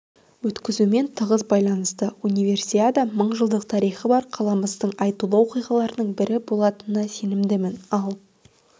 өткізумен тығыз байланысты универсиада мыңжылдық тарихы бар қаламыздың айтулы оқиғаларының бірі болатынына сенімдімін ал